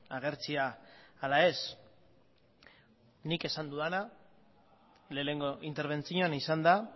agertzea ala ez nik esan dudana lehenengo interbentzioan izan da